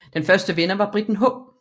Den første vinder var briten H